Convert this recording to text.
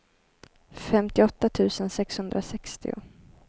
femtioåtta tusen sexhundrasextio